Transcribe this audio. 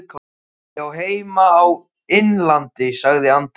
Ég á heima á Innlandi, sagði Andri.